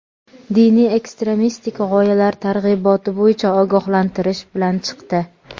diniy ekstremistik g‘oyalar targ‘iboti bo‘yicha ogohlantirish bilan chiqdi.